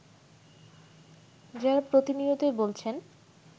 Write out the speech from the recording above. যারা প্রতিনিয়তই বলছেন